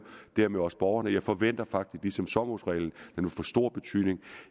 dermed også borgerne jeg forventer faktisk ligesom sommerhusreglen vil få stor betydning